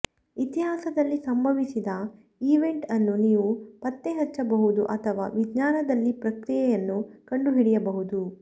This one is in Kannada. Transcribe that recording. ಇತಿಹಾಸದಲ್ಲಿ ಸಂಭವಿಸಿದ ಈವೆಂಟ್ ಅನ್ನು ನೀವು ಪತ್ತೆಹಚ್ಚಬಹುದು ಅಥವಾ ವಿಜ್ಞಾನದಲ್ಲಿ ಪ್ರಕ್ರಿಯೆಯನ್ನು ಕಂಡುಹಿಡಿಯಬಹುದು